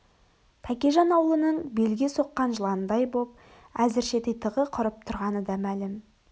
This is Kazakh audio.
тәкежан аулының белге соққан жыландай боп әзірше титығы құрып тұрғаны да мәлім